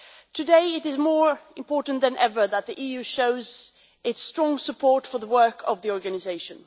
Today, it is more important than ever that the EU shows its strong support for the work of the organisation.